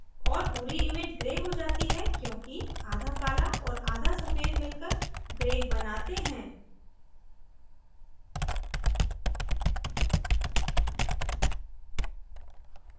और पूरी image gray हो जाती है क्योंकि आधा काला और आधा सफ़ेद मिलकर gray बनाते हैं